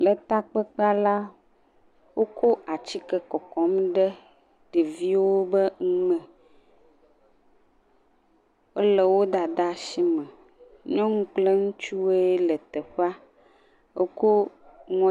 Le takpekpea la, wokɔ atike kɔkɔm ɖe ɖeviwo be nu me. Wole wo dada si me, nyɔnu kple ŋutsuwoe le teƒea, woko…